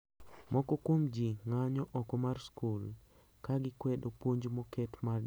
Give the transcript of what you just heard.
Moko kuom ji ng`anyo oko mar skul ka gikwedo puonj moket mar johera mangi kido machalre